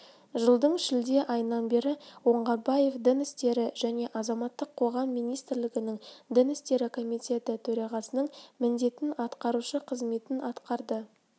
жылдың шілде айынан бері оңғарбаев дін істері және азаматтық қоғам министрлігінің дін істері комитеті төрағасының міндетін атқарушы қызметін атқарды